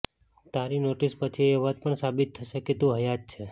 તારી નોટિસ પછી એ વાત પણ સાબિત થશે કે તું હયાત છે